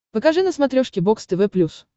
покажи на смотрешке бокс тв плюс